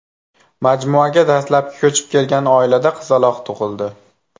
Majmuaga dastlabki ko‘chib kelgan oilada qizaloq tug‘ildi.